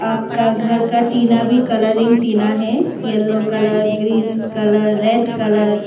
पक्का घर का टीना भी कलरिंग टीना है yellow colour green colour red colour.